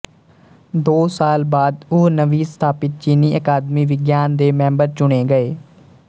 ਦੋ ਸਾਲ ਬਾਅਦ ਉਹ ਨਵੀਂ ਸਥਾਪਿਤ ਚੀਨੀ ਅਕਾਦਮੀ ਵਿਗਿਆਨ ਦੇ ਮੈਂਬਰ ਚੁਣੇ ਗਏ